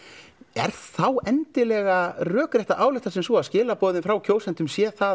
er þá endilega rökrétt að álykta sem svo að skilaboðin frá kjósendum sé það